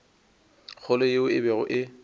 kgolo yeo e bego e